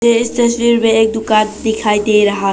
इस तस्वीर में एक दुकान दिखाई दे रहा है।